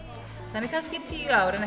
þannig að kannski í tíu ár en